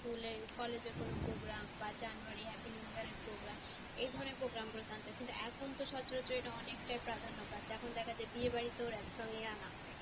School এ collage এ কোন program বা january happy new year এর program এ ধরনের program গুলো জানতো কিন্তু এখন তো সচরাচর এটা অনেকটাই প্রাধান্য পাচ্ছে এখন দেখা যায় বিয়ে বাড়িতেও rap song আনা হয়।